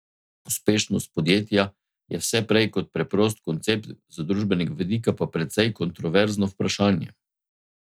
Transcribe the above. Uspešnost podjetja je vse prej kot preprost koncept, z družbenega vidika pa precej kontroverzno vprašanje.